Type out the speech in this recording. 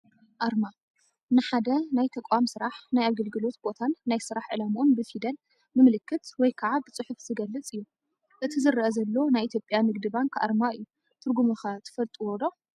ኣርማ፡- ንሓደ ናይ ተቋም ስራሕ ፣ ናይ ኣገልግሎት ቦታን ናይ ስራሕ ዕላምኡን ብፊደል፣ ብምልክት ወይ ከዓ ብፅሑፍ ዝገልፅ እዩ፡፡ አቲ ዝረአ ዘሎ ናይ ኢ/ያ ንግዲ ባንክ ኣርማ እዩ፡፡ ትርጉሙ ኸ ትፈልጥዎ ዶ?